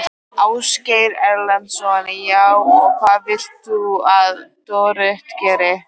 Ásgeir Erlendsson: Já, og hvað vilt þú að Dorrit geri?